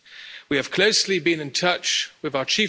Pero quiero referirme también al Consejo Europeo.